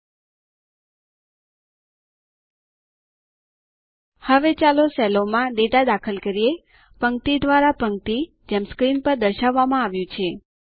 હવે ચાલો સેલોમાં ડેટા દાખલ કરીએ પંક્તિ દ્વારા પંક્તિ જેમ સ્ક્રીન પર દર્શાવવામાં આવ્યું છે